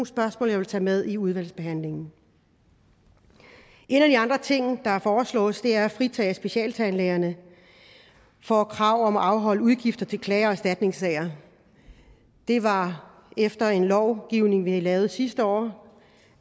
spørgsmål jeg vil tage med i udvalgsbehandlingen en af de andre ting der foreslås er at fritage specialtandlægerne fra kravet om at afholde udgifter til klage og erstatningssager det var efter en lovgivning vi lavede sidste år